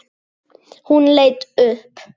Hún leit upp.